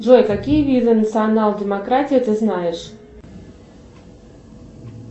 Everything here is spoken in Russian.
джой какие виды национал демократии ты знаешь